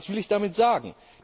Was will ich damit sagen?